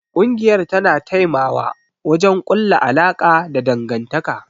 Kungiyar tana taimawa wajen kulla alaka da dangantaka.